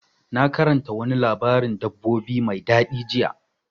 Na karanta wani labarin dabbobi mai daɗi jiya.